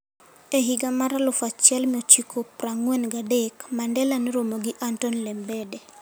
E higa mar 1943, Mandela noromo gi Anton Lembede,